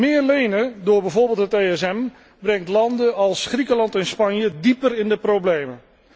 Meer lenen, door bijvoorbeeld het ESM, brengt landen als Griekenland en Spanje dieper in de problemen.